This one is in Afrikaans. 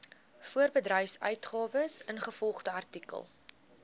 voorbedryfsuitgawes ingevolge artikel